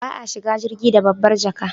Ba a shiga jirgi da babbar jaka